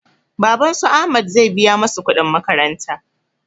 Baban su ahmad zai biya masu kuɗin makaranta